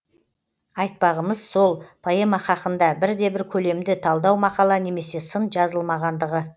айтпағымыз сол поэма хақында бірде бір көлемді талдау мақала немесе сын жазылмағандығы